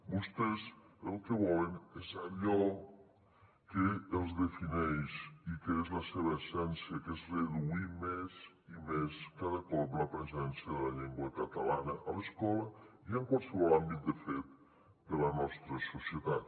vostès el que volen és allò que els defineix i que és la seva essència que és reduir més i més cada cop la presència de la llengua catalana a l’escola i en qualsevol àmbit de fet de la nostra societat